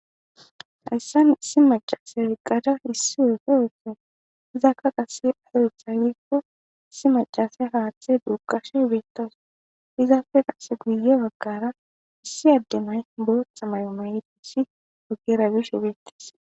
Hayssan issi macase weqqada issi woxe oeten izakka qase ayetha wikku issi macase haaththe duukashe beettas izaafe qasse guye baggara issi addemay bootha mayomaydissi ogera gish ebeettis